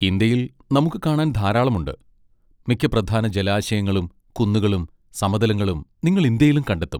ഇന്ത്യയിൽ നമുക്ക് കാണാൻ ധാരാളം ഉണ്ട്, മിക്ക പ്രധാന ജലാശയങ്ങളും കുന്നുകളും സമതലങ്ങളും നിങ്ങൾ ഇന്ത്യയിലും കണ്ടെത്തും.